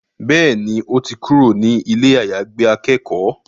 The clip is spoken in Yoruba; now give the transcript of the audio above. Bẹ́ẹ̀ni, ó ti kúrò ní ilé àyàgbé akẹ́kọ̀ọ́